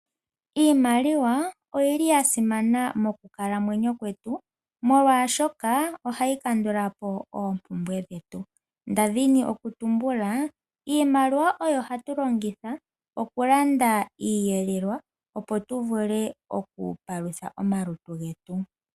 Iimaliwa oyili ya simana mokukalamwenyo kwetu molwashoka ohayi kandulapo oompumbwe dhetu. Ndadhini okutumbula iimaliwa oyo hatu longitha okulanda iiyelelwa opo tu vule okupalutha omalutu getu.